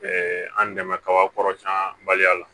an dɛmɛ kaba kɔrɔsiyɛnbaliya la